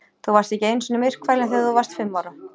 Þú varst ekki einu sinni myrkfælinn þegar þú varst fimm ára?